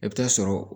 I bɛ taa sɔrɔ